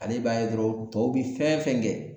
Ale b'a ye dɔrɔn tɔw bi fɛn fɛn kɛ